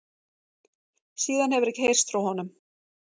Síðan hefur ekki heyrst frá honum